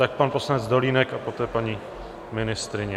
Tak pan poslanec Dolínek a poté paní ministryně.